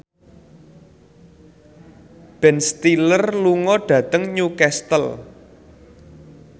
Ben Stiller lunga dhateng Newcastle